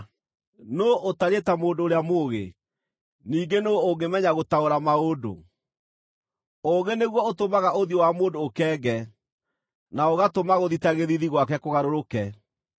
Nũũ ũtariĩ ta mũndũ ũrĩa mũũgĩ? Ningĩ nũũ ũngĩmenya gũtaũra maũndũ? Ũũgĩ nĩguo ũtũmaga ũthiũ wa mũndũ ũkenge, na ũgatũma gũthita gĩthiithi gwake kũgarũrũke.